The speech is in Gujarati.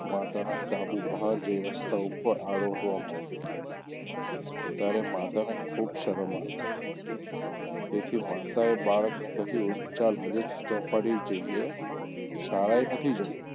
માંતાનાં કાબુ બહાર જઈ રસ્તા ઉપર આરોટવા માંડ્યો ત્યારે માતાને ખુબ શરમ આવી તેથી માતાએ બાળકને કહ્યું ચાલ આજે ચોપાટી જઈએ શાળાએ નથી જવું.